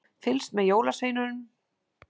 Fylgst með jólasveininum í ratsjá